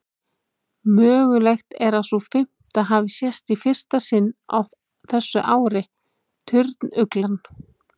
Mögulegt er að sú fimmta hafi sést í fyrsta sinn á þessu ári, turnuglan.